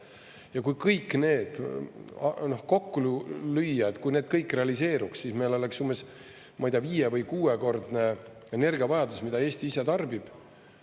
Ja kui kõik need kokku lüüa, et kui need kõik realiseeruks, siis meil oleks umbes, ma ei tea, viie- või kuuekordne energiavajadus, mida Eesti ise tarbib.